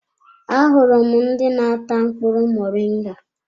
Ahụrụ m ndị n'ata mkpụrụ muringa.